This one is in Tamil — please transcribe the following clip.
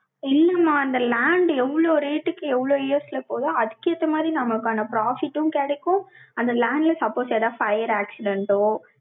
இல்லம்மா, அந்த land எவ்ளோ rate க்கு, எவ்வளவு years ல போகுதோ, அதுக்கு ஏத்த மாதிரி, நமக்கான profit ம் கிடைக்கும். அந்த land ல, suppose ஏதாவது fire accident ஓ,